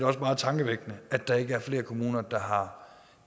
også meget tankevækkende at der ikke er flere kommuner der har